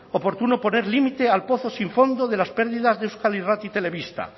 oportuno poner límite al pozo sin fondo de las pérdidas de euskal irrati telebista